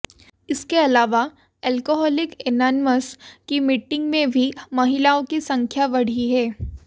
इसके अलावा Alcoholics Anonymous की मीटिंग में भी महिलाओं की संख्या बढ़ी है